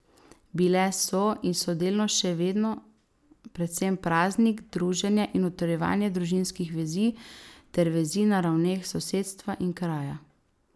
Bile so in so delno še vedno predvsem praznik, druženje in utrjevanje družinskih vezi ter vezi na ravneh sosedstva in kraja.